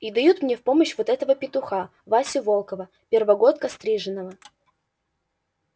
и дают мне в помощь вот этого петуха васю волкова первогодка стриженого